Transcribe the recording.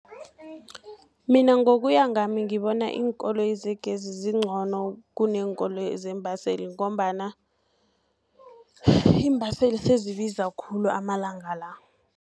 Mina ngokuya ngami ngibona iinkoloyi zegezi zincono, kuneenkoloyi zeembaseli, ngombana iimbaseli sezibiza khulu amalanga la.